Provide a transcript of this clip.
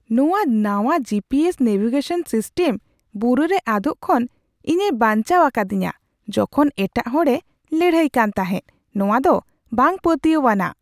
ᱱᱚᱶᱟ ᱱᱟᱶᱟ G P S navigation system ᱵᱩᱨᱩᱨᱮ ᱟᱫᱚᱜ ᱠᱷᱚᱱ ᱤᱧᱮ ᱵᱟᱧᱪᱟᱣ ᱟᱠᱟᱫᱤᱧᱟᱹ ᱡᱚᱠᱷᱚᱱ ᱮᱴᱟᱜ ᱦᱚᱲᱮ ᱞᱟᱹᱲᱦᱟᱹᱭ ᱠᱟᱱ ᱛᱟᱦᱮᱸᱫ ᱾ ᱱᱚᱶᱟ ᱫᱚ ᱵᱟᱝ ᱯᱟᱹᱛᱭᱟᱹᱣᱼᱟᱱᱟᱜ ᱾